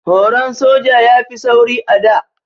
Horon soja ya fi tsauri a da.